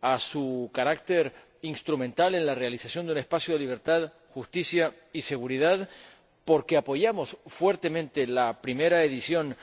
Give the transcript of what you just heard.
a su carácter instrumental en la realización de un espacio de libertad, justicia y seguridad, porque apoyamos fuertemente la primera edición del